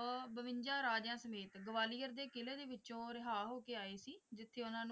ਅਹ ਬਵੰਜਾ ਰਾਜਿਆਂ ਸਮੇਤ ਗਵਾਲੀਅਰ ਦੇ ਕਿਲੇ ਵਿੱਚੋਂ ਰਿਹਾ ਹੋ ਕੇ ਆਏ ਸੀ ਜਿੱਥੇ ਉਨ੍ਹਾਂ ਨੂੰ,